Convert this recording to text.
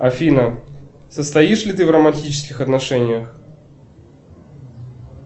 афина состоишь ли ты в романтических отношениях